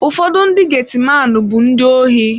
Ụfọdụ ndị geti maanu bụ ndị ohi.